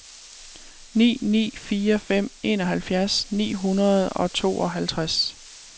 ni ni fire fem enoghalvfjerds ni hundrede og tooghalvtreds